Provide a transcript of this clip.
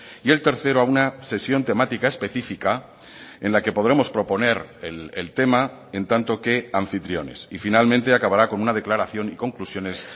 y el tercero a una sesión temática específica en la que podremos proponer el tema en tanto qué anfitriones y finalmente acabará con una declaración y conclusiones